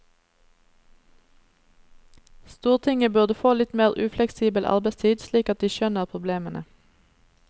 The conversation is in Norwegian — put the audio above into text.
Stortinget burde få litt mer ufleksibel arbeidstid slik at de skjønner problemene.